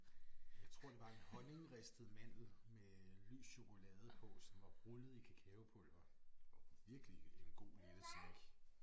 Jeg tror det var en honningristet mandel med lys chokolade på som var rullet i kakaopulver. Virkelig en god lille snack